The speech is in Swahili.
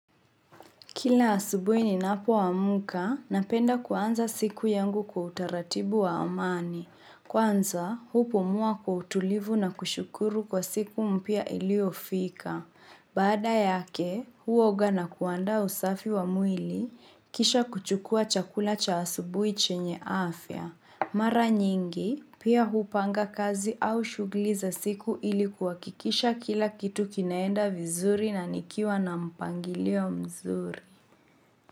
Kila asubui ni napo wa muka, napenda kwanza siku yangu kwa utaratibu wa amani. Kwanza, hupu mua kwa utulivu na kushukuru kwa siku mpya ilio fika. Baada yake, huoga na kuanda usafi wa mwili, kisha kuchukua chakula cha asubui chenye afya. Mara nyingi, pia hupanga kazi au shugliza siku ilikuwa kikisha kila kitu kinaenda vizuri na nikiwa na mpangilio mzuri.